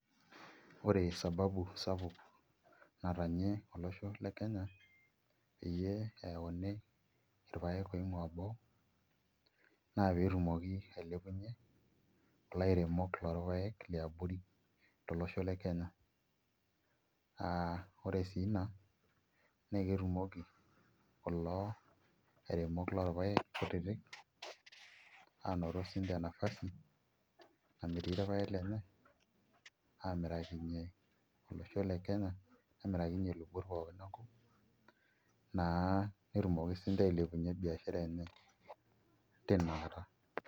Ore sababu sapuk natanyie olosho le Kenya peyie eyauni irpaek oing'uaa boo naa pee etumoki ailepunyie kulo airemok lorpaek liabori tolosho le Kenya aa ore sii ina naa ketumoki kulo airemok lorpaek kutitik aanoto siinche nafasi namirie irpaek lenye aamirakinyie olosho le Kenya nemirakinyie ilubot pookin enkop naa netumoki siinche ailepunyie biashara enye.